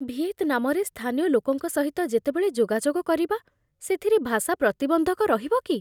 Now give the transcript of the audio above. ଭିଏତନାମରେ ସ୍ଥାନୀୟ ଲୋକଙ୍କ ସହିତ ଯେତେବେଳେ ଯୋଗାଯୋଗ କରିବା, ସେଥିରେ ଭାଷା ପ୍ରତିବନ୍ଧକ ରହିବ କି?